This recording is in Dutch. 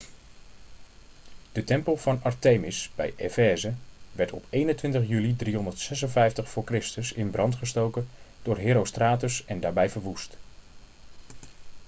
de tempel van artemis bij efeze werd op 21 juli 356 voor christus in brand gestoken door herostratus en daarbij verwoest